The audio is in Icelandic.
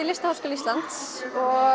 Listaháskóla Íslands